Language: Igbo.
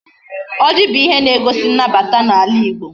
Oji bu ihe na egosi nnabata na ala igbo